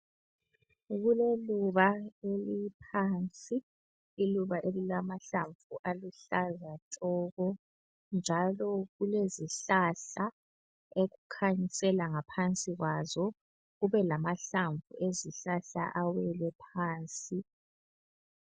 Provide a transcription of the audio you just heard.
Kuleluba eliphansi, iluba elilamahlamvu aluhlaza tshoko, njalo kulezihlahla okukhanyisela ngaphansi kwazo, kube lamahlamvu ezihlahla awele phansi.